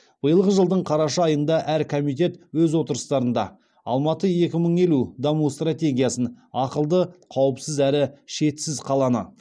биылғы жылдың қараша айында әр комитет өз отырыстарында алматы екі мың елу даму стратегиясын ақылды қауіпсіз әрі шетсіз қаланы